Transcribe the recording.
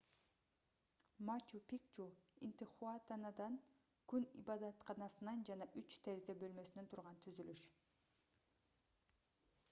мачу-пикчу интихуатанадан күн ибадатканасынан жана үч терезе бөлмөсүнөн турган түзүлүш